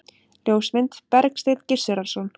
Ljósmynd: Bergsteinn Gizurarson.